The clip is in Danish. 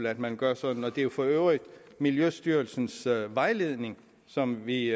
at man gør sådan og det er jo for øvrigt miljøstyrelsens vejledning som vi